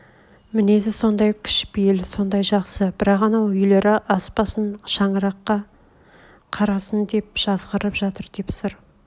мінез сондай кішпейіл сондай жақсы бірақ анау үйлері аспасын шаңыраққа қарасын деп жазғырып жатыр деп сыр